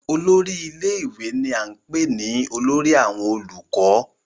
olórí ilé ìwé ni à ń pè ní olórí àwọn olùkọ́